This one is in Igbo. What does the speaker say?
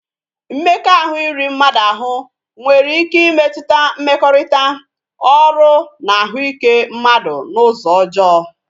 Mmekọahụ iri mmadu ahụ nwere ike ịmetụta mmekọrịta, ọrụ na ahụike mmadụ n'ụzọ ọjọọ